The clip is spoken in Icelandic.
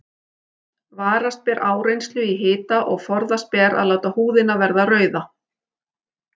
Varast ber áreynslu í hita og forðast ber að láta húðina verða rauða.